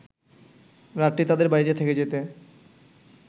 রাতটি তাদের বাড়িতে থেকে যেতে